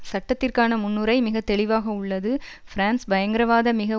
சட்டத்திற்கான முன்னுரை மிக தெளிவாக உள்ளது பிரான்ஸ் பயங்கரவாத மிக